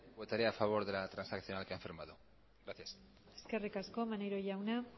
votaré a favor de la transaccional que han firmado gracias eskerrik asko maneiro jauna